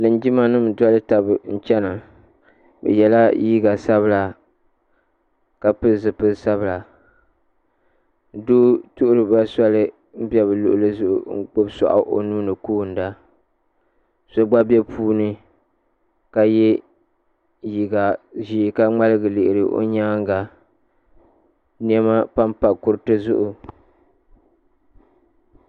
Linjima nima n doli taba n chena bɛ yela liiga sabila ka pili zipil'sabila doo tuhiri ba soli m be bɛ luɣuli zuɣu ka gbibi soaɣu o nuuni n koona ka ye liiga ʒee ka ŋmaligi lihiri o nyaanga niɛma pampa kuriti zuɣu.